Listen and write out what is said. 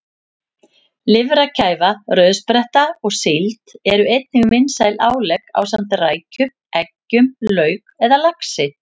Lifrarkæfa, rauðspretta og síld eru einnig vinsæl álegg ásamt rækjum, eggjum, lauk eða laxi.